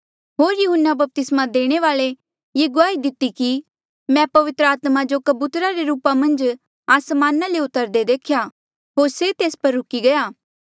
होर यहून्ना बपतिस्मा देणे वाल्ऐ ये गुआही दिती कि मैं पवित्र आत्मा जो कबूतरा रे रूपा मन्झ आसमाना ले उतरदे देख्या होर से तेस पर रुकी गया